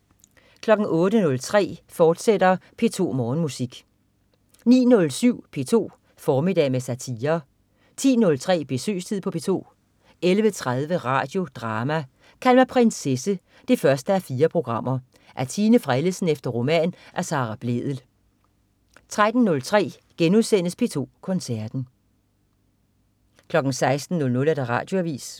08.03 P2 Morgenmusik, fortsat 09.07 P2 formiddag med satire 10.03 Besøgstid på P2 11.30 Radio Drama: Kald mig prinsesse 1:4. Af Tine Frellesen efter roman af Sara Blædel 13.03 P2 Koncerten*